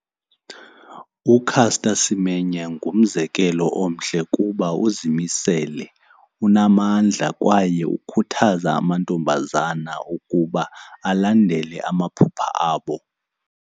UCaster Semenya ngumzekelo omhle kuba uzimisele, unamandla kwaye ukhuthaza amantombazana ukuba alandele amaphupha abo.